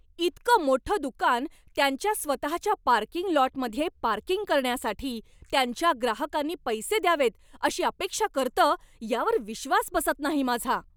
इतकं मोठं दुकान त्यांच्या स्वतःच्या पार्किंग लॉटमध्ये पार्किंग करण्यासाठी त्यांच्या ग्राहकांनी पैसे द्यावेत अशी अपेक्षा करतं, यावर विश्वास बसत नाही माझा!